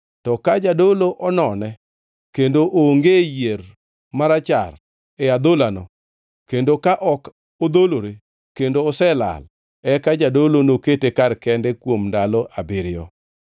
To ka jadolo onone kendo onge yier marachar e adholano kendo ka ok odholore kendo oselal, eka jadolo nokete kar kende kuom ndalo abiriyo.